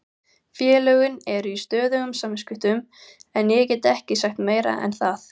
Félögin eru í stöðugum samskiptum en ég get ekki sagt meira en það.